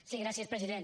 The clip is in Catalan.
sí gràcies president